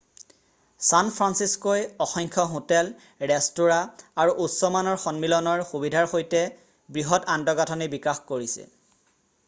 San ফান্সিস্ক'ই অসংখ্য hotel restaurant আৰু উচ্চ মানৰ সন্মিলনৰ সুবিধাৰ সৈতে বৃহৎ আন্তঃগাঁঠনি বিকাশ কৰিছে